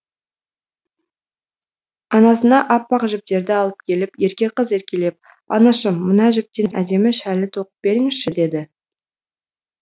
анасына аппақ жіптерді алып келіп ерке қыз еркелеп анашым мына жіптен әдемі шәлі тоқып беріңізші деді